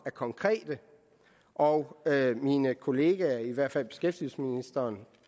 er konkret og mine kolleger i hvert fald beskæftigelsesministeren